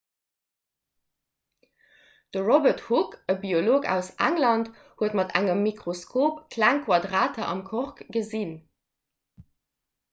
de robert hooke e biolog aus england huet mat engem mikroskop kleng quadrater am kork gesinn